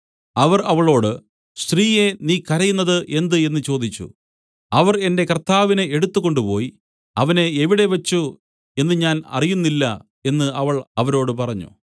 അവർ അവളോട് സ്ത്രീയേ നീ കരയുന്നത് എന്ത് എന്നു ചോദിച്ചു അവർ എന്റെ കർത്താവിനെ എടുത്തുകൊണ്ടുപോയി അവനെ എവിടെ വെച്ച് എന്നു ഞാൻ അറിയുന്നില്ല എന്നു അവൾ അവരോട് പറഞ്ഞു